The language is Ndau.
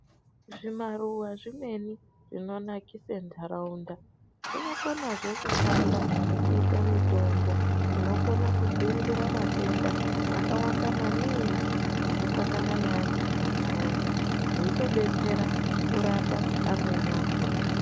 Zvimaruwa zvimweni zvinonakise ndaraunda zvinokonazve kushanda kuite mitombo inokona kudziirire matenda akawanda maningi anosangana neantu mumanharaunda, zveitodetsera kurapa amweni akona.